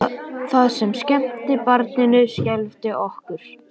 Það sem skemmti barninu skelfdi okkur.